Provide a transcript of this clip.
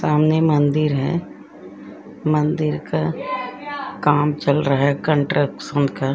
सामने मंदिर है। मंदिर का काम चल रहा है कंस्ट्रक्शन का --